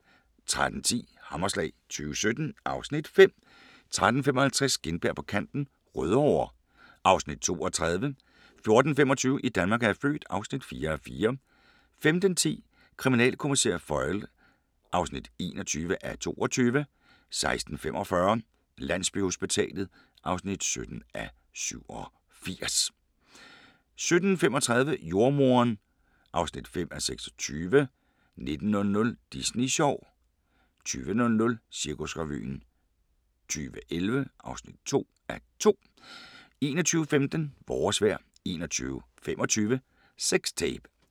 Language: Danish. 13:10: Hammerslag 2017 (Afs. 5) 13:55: Gintberg på kanten – Rødovre (2:30) 14:25: I Danmark er jeg født (4:4) 15:10: Kriminalkommissær Foyle (21:22) 16:45: Landsbyhospitalet (17:87) 17:35: Jordemoderen (5:26) 19:00: Disney sjov 20:00: Cirkusrevyen 2011 (2:2) 21:15: Vores vejr 21:25: Sex Tape